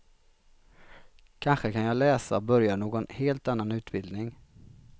Kanske kan jag läsa och börja någon helt annan utbildning.